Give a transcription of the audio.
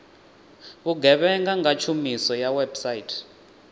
vhugevhenga nga tshumiso ya website